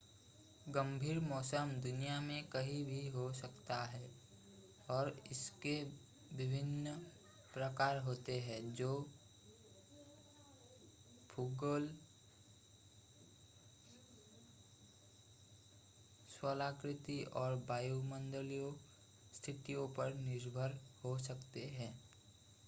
गंभीर मौसम दुनिया में कहीं भी हो सकता है और इसके विभिन्न प्रकार होते हैं जो भूगोल स्थलाकृति और वायुमंडलीय स्थितियों पर निर्भर हो सकते हैं